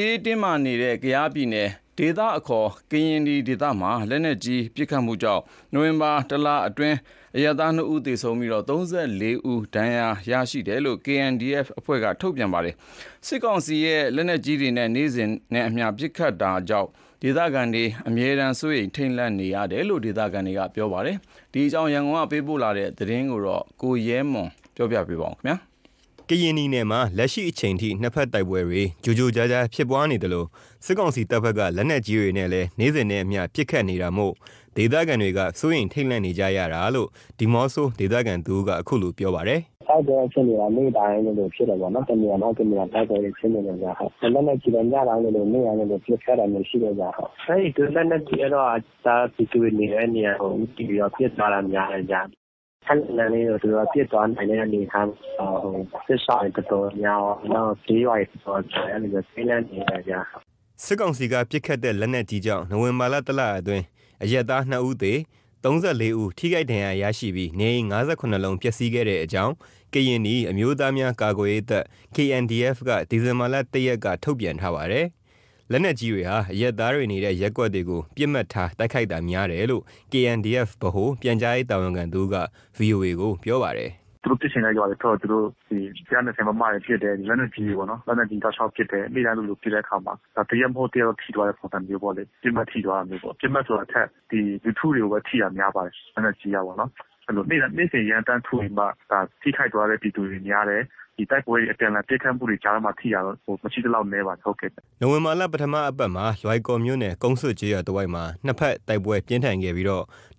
ေးတင်းမားနေတဲ့ ကယားပြည်နယ် ဒေသအခေါ် ကရင်နီနယ်မှာ လက်နက်ကြီးပစ်ခတ်မှုကြောင့် နိုဝင်ဘာလ တလအတွင်း အရပ်သား ၂ဦးသေ၊ ၃၄ ဦး ထိခိုက်ဒဏ်ရာရရှိတယ်လို့ KNDF က ထုတ်ပြန်ပါတယ်။ စစ်ကောင်စီဘက်က လက်နက်ကြီးတွေနဲ့ နေ့စဉ်နဲ့အမျှ ပစ်ခတ်နေတာမို့ ဒေသခံတွေ အမြဲတမ်း စိုးရိမ် ထိတ်လန့်နေရတာလို့ ဒေသခံတွေ ပြောပါတယ်။ ကယားအခြေအနေ ရန်ကုန်ကသတင်းပေးပို့ထားတာ ကို ကိုရဲမွန် က ပြောပြပေးမှာပါ။ ကရင်နီနယ်မှာ လက်ရှိအချိန်ထိ နှစ်ဖက်တိုက်ပွဲတွေ ကြိုကြားဖြစ်ပွားနေသလို၊ စစ်ကောင်စီတပ်ဖက်က လက်နက်ကြီးတွေနဲ့ နေ့စဉ်ပစ်ခတ်နေတာကြောင့် ဒေသခံတွေက စိုးရိမ်ထိတ်လန့်နေကြရတာလို့ ဒီးမော့ဆိုမြို့ခံတဦးက ခုလို ပြောပါတယ်။ “တိုက်ပွဲအခြေအနေက နေ့တိုင်းလိုလိုဖြစ်တာပေါ့နော်၊ တနေရာ မဟုတ် တနေရာ တိုက်ပွဲတွေဖြစ်နေတယ်ဗျ။ လက်နက်ကြီးလည်း ညတိုင်း၊ နေ့တိုင်း ပစ်ခတ်တာမျိုးရှိတယ်ဗျ ။ အဲ့ဒီလက်နက်ကြီးကတော့ အရပ်သားပြည်သူတွေ နေတဲ့နေရာ ဦးတည်ပြီးတော့ ပစ်သွားတာ များတယ်ဗျ။ ခပ်လှမ်းလှမ်းလေကို သူတို့ပစ်သွားနိုင်တဲ့ အနေအထား ဟို စစ်ရှောင်တွေ တော်တော်များများရော ကျေးရွာတွေရော အဲ့လိုမျိုး ထိတ်လန့်နေရတယ်ဗျ။” စစ်ကောင်စီက ပစ်ခတ်တဲ့ လက်နက်ကြီးကြောင့် နိုဝင်ဘာလ လအတွင်း အရပ်သား ၂ဦးသေ၊ ၃၄ ဦး ထိခိုက်ဒဏ်ရာရရှိပြီး နေအိမ် ၅၇ လုံးပျက်စီးခဲ့တဲ့အကြောင်း ကရင်နီ အမျိုးသားများ ကာကွယ်ရေးတပ် က ဒီဇင်ဘာ ၁ရက် မနေ့က ထုတ်ပြန်ထားပါတယ်။ လက်နက်ကြီတွေဟာ အရက်သားတွေနေတဲ့ ရပ်ကွက်တွေကို ပစ်မှတ်ထား တိုက်ခိုက်တာများတယ်လို့ KNDF ဗဟိုပြန်ကြားရေး တာဝန်ခံတဦး က ဗွီအိုအေ ကို ပြောပါတယ်။ “ သူတို့ ပစ်ချင်တဲ့ ရွာတွေဘက်ကို သူတို့ ဒီ ၁၂၀ မမ တွေနဲ့ ပစ်တယ်။ လက်နက်ကြီးတွေပေါ့နော်။ လက်နက်ကြီးတွေ တောက်လျှောက်ပစ်တယ်။ နေ့စဉ်လိုလို ပစ်တဲ့အခါမှာ တရက်မဟုတ်တော့ တရက် ထိသွားတဲ့ ပုံစံမျိုးပေါ့လေ။ ပစ်မှတ်ထိသွားတာမျိုးပေါ့။ ပစ်မှတ်ဆိုတာထက် ဒီလူထုတွေကိုပဲ ထိတာ များပါတယ်။ လက်နက်ကြီးကပေါနော်။ အဲ့လို နေ့စဉ်ရမ်းသမ်းထုပြီးမှ ဒါထိခိုက်သွားတဲ့ ပြည်သူတွေ များတယ်။ ဒီတိုက်ပွဲတွေ အပြန်အလှန်ပစ်ခတ်မှုတွေကြာထဲမှာ ထိတာတော့ မရှိသလောက်နည်းပါတယ် ဟုတ်ကဲ့။” နိုဝင်ဘာ ပထမအပတ်မှာ လွိုင်ကော်မြို့နယ် ကုန်းဆွတ်ကျေးရွာတဝိုက်မှာ နှစ်ဖက်တိုက်ပွဲပြင်းထန်ခဲ့ပြီး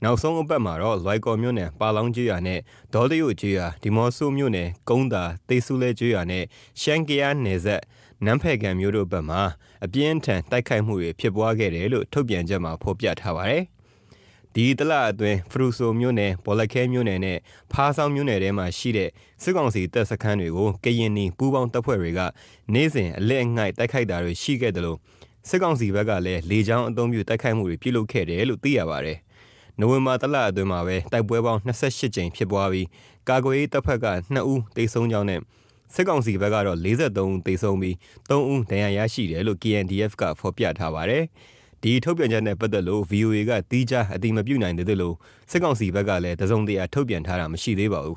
နောက်ဆုံးအပတ်မှာတော့ လွိုင်ကော်မြို့နယ် ပါလောင်းကျေးရွာနဲ့ ဒေါတယို့ကျေးရွာ၊ ဒီးမော့ဆိုမြို့နယ် ကုန်းသာ၊ သေးဆူလဲကျေးရွာ နဲ့ ရှမ်း-ကယားနယ်စပ် နန်းဖယ်ခံမြို့တို့ဖက်မှာ အပြင်းအထန် တိုက်ခိုက်မှုတွေ ဖြစ်ပွားခဲ့တယ်လို့ ထုတ်ပြန်ချက်မှာ ဖော်ပြထားပါတယ်။ ဒီတလအတွင်း ဖရူဆိုမြို့နယ်၊ ဘောလခဲမြို့နယ် နဲ့ ဖားဆောင်းမြို့နယ်မှာရှိတဲ့ စစ်ကောင်စီတပ်စခန်းတွေကို ကရင်နီပူးပေါင်းတပ်ဖွဲ့တွေက နေ့စဉ်အလစ်အငိုက်တိုက်ခိုက်တာတွေရှိသလို၊ စစ်ကောင်စီဘက်ကလည်း လေကြောင်းအသုံးပြု တိုက်ခိုက်မှုတွေ ပြုလုပ်ခဲ့တယ်လို့ သိရပါတယ်။ နိုဝင်ဘာ တလအတွင်း တိုက်ပွဲပေါင်း ၂၈ ကြိမ်ဖြစ်ပွားပြီး ကာကွယ်ရေးတပ်ဖက်က ၂ဦးသေဆုံးကြောင်းနဲ့ စစ်ကောင်စီဖက်ကတော့ ၄၃ ဦးသေဆုံး၊ ၃ဦး ဒဏ်ရာရရှိတယ်လို့ KNDF က ဖော်ပြထားပါတယ်။ ဒီထုတ်ပြန်ချက်နဲ့ ပတ်သက်လို့ VOA က သီးခြားအတည်မပြုနိုင်သေးသလို စစ်ကောင်စီဘက်ကလည်း တစုံတရာထုတ်ပြန်တာ မရှိသေးပါဘူး